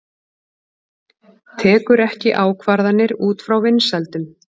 Tekur ekki ákvarðanir út frá vinsældum